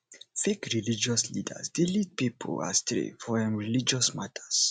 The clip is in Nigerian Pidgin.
fake religious leaders de lead pipo astray for um religious matters